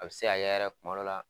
A be se ka kɛ yɛrɛ kuma dɔw la